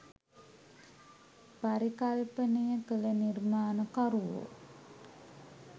පරිකල්පනය කළ නිර්මාණකරුවෝ